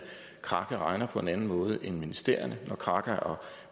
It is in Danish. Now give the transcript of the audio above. kraka regner på en anden måde end ministerierne når krakas og